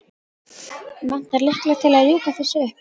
Vantar lykla til að ljúka þessu upp.